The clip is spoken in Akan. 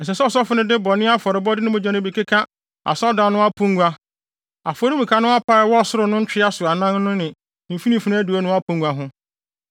Ɛsɛ sɛ ɔsɔfo no de bɔne afɔrebɔde no mogya no bi keka asɔredan no apongua, afɔremuka no apa a ɛwɔ soro no ntwea so anan no ne mfimfini adiwo no apongua ho.